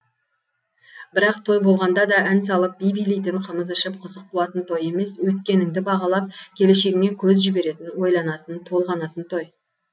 бірақ той болғанда да ән салып би билейтін қымыз ішіп қызық қуатын той емес өткеніңді бағалап келешегіңе көз жіберетін ойланатын толғанатын той